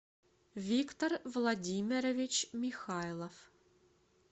виктор владимирович михайлов